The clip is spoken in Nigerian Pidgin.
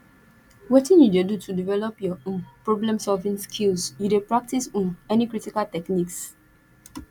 wetin you dey do to develop your um problemsolving skills you dey practice um any critical techniques